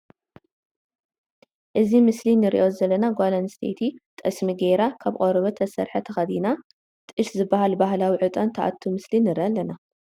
እዚ ምስሊ ንሪኦ ዘለና ጓል ኣንስተይቲ ጠስሚ ገይራ ካብ ቆርበት ዝተሰርሐ ተክዲና ጥሽ ዝበሃል በሃላዊ ዕጣን ትኣቱ ምስሊ ንርኢ ኣለና።